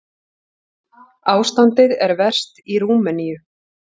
Ástandið er verst í Rúmeníu.